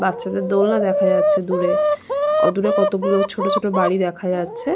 বাচ্চাদের দোলনা দেখা যাচ্ছে দূরে অদূরে কতগুলো ছোট ছোট বাড়ি দেখা যাচ্ছে |